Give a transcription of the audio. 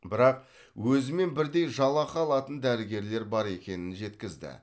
бірақ өзімен бірдей жалақы алатын дәрігерлер бар екенін жеткізді